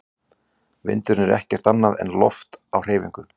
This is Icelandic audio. Vindurinn er ekkert annað en loft á hreyfingu.